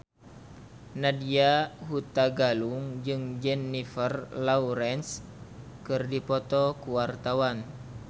Nadya Hutagalung jeung Jennifer Lawrence keur dipoto ku wartawan